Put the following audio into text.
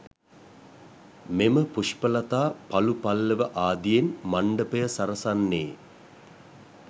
මෙම පුෂ්පලතා පලු පල්ලව ආදියෙන් මණ්ඩපය සරසන්නේ